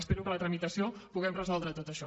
espero que en la tramitació puguem resoldre tot això